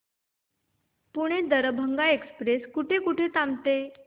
Pune Darbhanga express कुठे कुठे थांबते